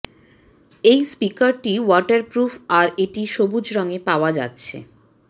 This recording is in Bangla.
এই স্পিকারটি ওয়াটার প্রুফ আর এটি সবুজ রঙে পাওয়া যাচ্ছে